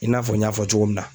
I n'a fɔ n y'a fɔ cogo min na.